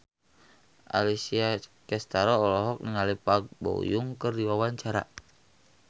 Alessia Cestaro olohok ningali Park Bo Yung keur diwawancara